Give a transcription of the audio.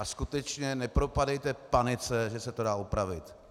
A skutečně nepropadejte panice, že se to dá opravit.